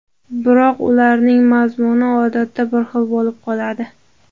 Biroq ularning mazmuni odatda bir xil bo‘lib qoladi.